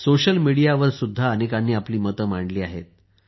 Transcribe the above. social मीडियावरसुद्धा अनेकांनी आपली मते मांडली आहेत